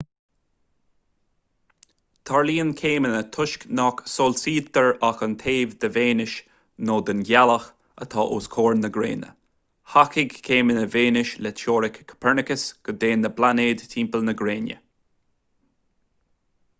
tarlaíonn céimeanna toisc nach soilsítear ach an taobh de véineas nó den ghealach atá os comhair na gréine. thacaigh céimeanna véineas le teoiric copernicus go dtéann na pláinéid timpeall na gréine